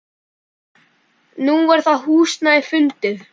Nú er það húsnæði fundið.